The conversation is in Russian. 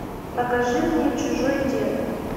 покажи мне чужой дед